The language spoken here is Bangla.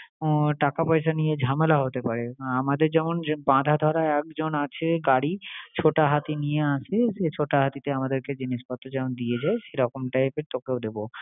টাকা পয়সা নিয়ে ঝামেলা হতে পারে। আমাদের যেমন যে বাঁধা-ধরা একজন আছে গাড়ি ছোটা হাতি নিয়ে আসলে সেই ছোটা হাতিতে আমাদেরকে জিনিসপত্র যেমন দিয়ে যায় সেরকম type এর তোকেও দেবো।